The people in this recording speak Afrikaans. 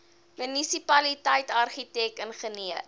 munisipaliteit argitek ingenieur